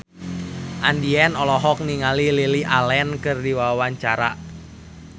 Andien olohok ningali Lily Allen keur diwawancara